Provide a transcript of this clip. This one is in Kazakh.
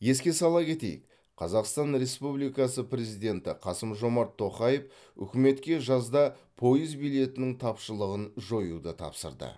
еске сала кетейік қазақстан республикасы президенті қасым жомарт тоқаев үкіметке жазда пойыз билетінің тапшылығын жоюды тапсырды